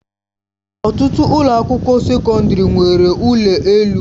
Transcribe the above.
Ọtụtụ ụlọ akwụkwọ sekọndrị nwere ụlọ elu.